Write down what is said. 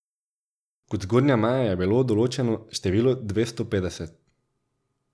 Kot zgornja meja je bilo določeno število dvesto petdeset.